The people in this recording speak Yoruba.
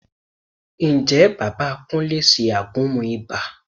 Ǹjẹ́ bàbá Kúnlé ṣe àgúnmu ibà?